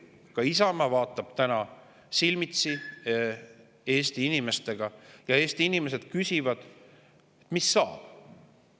Ka Isamaa on täna silmitsi Eesti inimestega ja Eesti inimesed küsivad: "Mis saab?